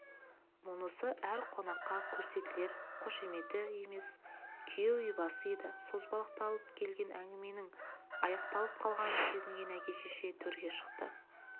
мұнысы әр қонаққа көрсетілер қошеметі емес күйеу ибасы еді созбақталып келген әңгіменің аяқталып қалғанын сезінген әке-шеше төрге шықты